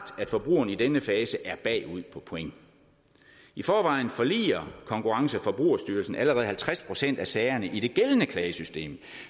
at forbrugerne i denne fase er bagud på point i forvejen forliger konkurrence og forbrugerstyrelsen allerede halvtreds procent af sagerne i det gældende klagesystem